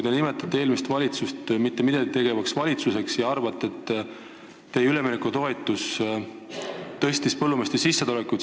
Te nimetate eelmist valitsust mitte midagi tegevaks valitsuseks ja arvate, et teie üleminekutoetus tõstis põllumeeste sissetulekut.